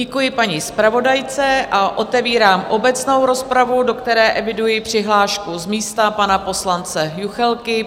Děkuji paní zpravodajce a otevírám obecnou rozpravu, do které eviduji přihlášku z místa pana poslance Juchelky.